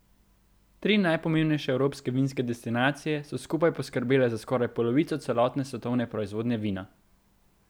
Tri najpomembnejše evropske vinske destinacije so skupaj poskrbele za skoraj polovico celotne svetovne proizvodnje vina.